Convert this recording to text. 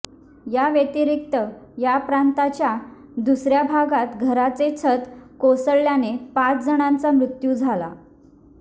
याव्यतिरिक्त या प्रांताच्या दुसऱया भागात घराचे छत कोसळल्याने पाच जणांचा मृत्यू झाला